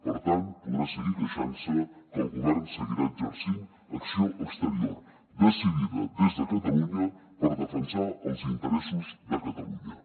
per tant podrà seguir queixant se que el govern seguirà exercint acció exterior decidida des de catalunya per defensar els interessos de catalunya